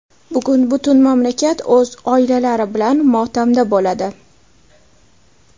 Bugun butun mamlakat o‘z oilalari bilan motamda bo‘ladi.